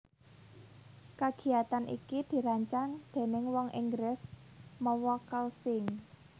Kagiyatan iki dirancang déning wong Inggris mawa call sign